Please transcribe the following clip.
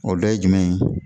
O dɔ ye jumɛn ye